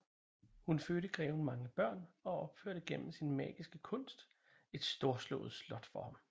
Hun fødte greven mange børn og opførte gennem sin magiske kunst et storslået slot for ham